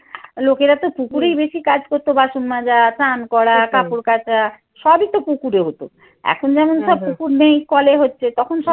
লোকেরা তো কুকুরেই বেশি কাজ করতো বাসন মাজা, স্নান করা, কাপড় কাচা সবই তো পুকুরে হত। এখন যেমন সব পুকুর নেই, কলে হচ্ছে. তখন সব